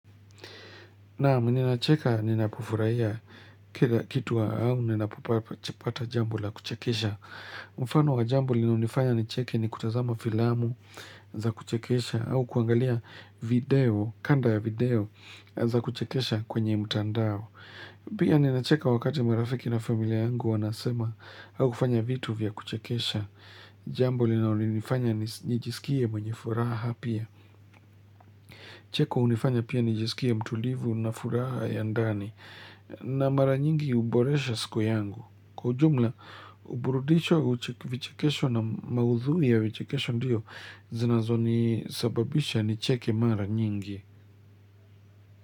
Naam, ninacheka ninapofurahia kila kitu au ninapopata jambo la kuchekesha. Mfano wa jambo linalonifanya nicheke, ni kutazama filamu za kuchekesha au kuangalia kanda ya video za kuchekesha kwenye mtandao. Pia, ninacheka wakati marafiki na familia yangu wanasema au kufanya vitu vya kuchekesha. Jambo linalonifanya nijisikie mwenye furaha pia. Cheko hunifanya pia nijiskie mtulivu na furaha ya ndani na mara nyingi huboresha siku yangu. Kwa ujumla, uburudisho, vichekesho na maudhui ya vichekesho ndiyo zinazonisababisha nicheke mara nyingi.